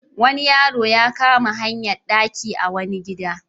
Wani yaro ya kama hayar ɗaki a wani gida.